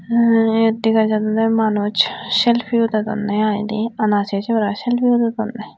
anh yot dega jadonne manuj selpi udodonne i de ana sesoi selpi udodonne.